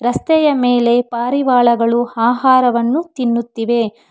ರಸ್ತೆಯ ಮೇಲೆ ಪಾರಿವಾಳಗಳು ಆಹಾರವನ್ನು ತಿನ್ನುತ್ತಿವೆ.